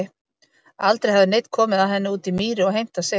Aldrei hafði neinn komið að henni úti í mýri og heimtað sitt.